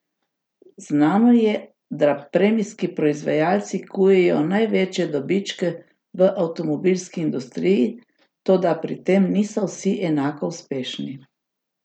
Znano je, da premijski proizvajalci kujejo največje dobičke v avtomobilski industriji, toda pri tem niso vsi enako uspešni.